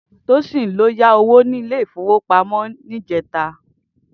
Tosin lò yá ówó ni ilé ifówópámò yèn nijètá